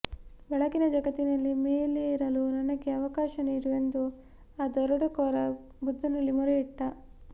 ಬೆಳಕಿನ ಜಗತ್ತಿನಲ್ಲಿ ಮೇಲೇರಲು ನನಗೆ ಅವಕಾಶ ನೀಡು ಎಂದು ಆ ದರೋಡೆಕೋರ ಬುದ್ಧನಲ್ಲಿ ಮೊರೆಯಿಟ್ಟ